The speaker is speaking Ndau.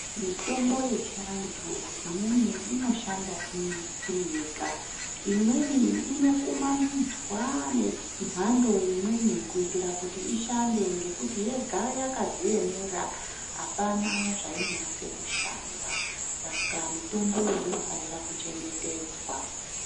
Mitombo yechiantu imweni inoshanda iri iriyega imweni inokumanidzwa ne nemhando imweni kuitira kuti ishande ngekuti yega yakadziemera apana zvainonase kushanda ,saka mitombo iyi unofanira kuchengetedzwa.